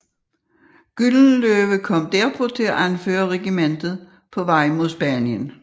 Gyldenløve kom derpå til at anføre regimentet på vej mod Spanien